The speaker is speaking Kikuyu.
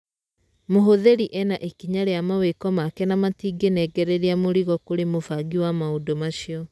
Mũhũthĩri ena ikinya rĩa mawĩko make na matingĩnengereria mũrigo kũrĩ mũbangi wa maũndũ macio.